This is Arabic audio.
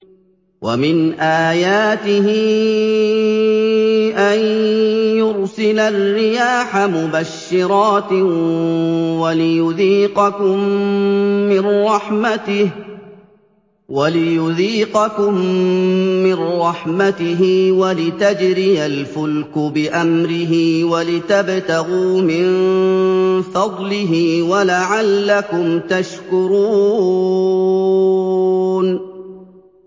وَمِنْ آيَاتِهِ أَن يُرْسِلَ الرِّيَاحَ مُبَشِّرَاتٍ وَلِيُذِيقَكُم مِّن رَّحْمَتِهِ وَلِتَجْرِيَ الْفُلْكُ بِأَمْرِهِ وَلِتَبْتَغُوا مِن فَضْلِهِ وَلَعَلَّكُمْ تَشْكُرُونَ